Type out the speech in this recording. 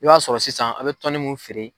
I b'a sɔrɔ sisan a' bɛ tɔnni mun feere.